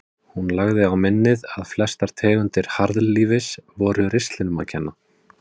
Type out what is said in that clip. Hún lagði á minnið að flestar tegundir harðlífis voru ristlinum að kenna.